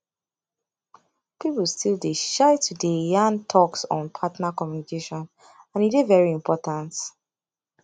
people still dey shy to dey yan talks on partner communication and e dey very important